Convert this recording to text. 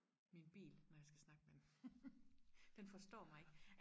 min bil når jeg skal snakke med den den forstår mig ikke